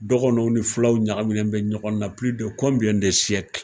Dɔgɔnɔw ni filaw ɲagaminan bɛ ɲɔgɔn na de